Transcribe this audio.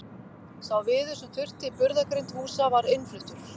Sá viður sem þurfti í burðargrind húsa var innfluttur.